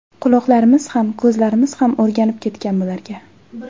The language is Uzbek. Quloqlarimiz ham, ko‘zlarimiz ham o‘rganib ketgan bularga.